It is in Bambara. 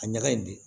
A ɲaga in de